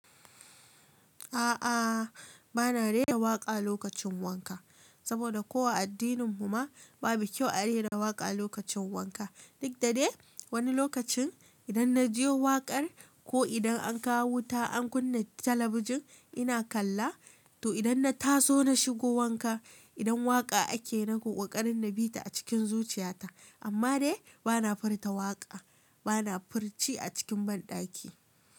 A'a, bana rera waƙa lokacin wanka, saboda ko a addinin mu ma babu kyau a rera waƙa lokacin wanka. Duk da dai wani lokacin idan na je waƙar ko idan an kawo wuta an kunna talabijin ina kalla, toh idan na taso na shigo wanka idan waƙa ake na ƙoƙarin na bi ta a cikin zuchiyata. Amma de bana furta waƙa, bana furci a cikin banɗaki.